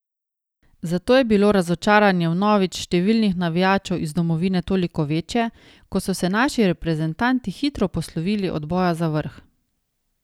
Zato je bilo razočaranje vnovič številnih navijačev iz domovine toliko večje, ko so se naši reprezentanti hitro poslovili od boja za vrh.